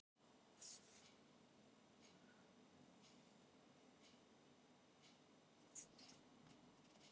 Ég heyri ekki í ykkur.